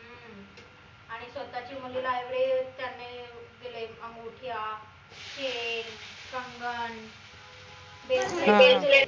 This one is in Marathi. आणि स्वतःच्या मुलीला आपले त्यांनी अं दिले अंगुट्या, chain, कंगन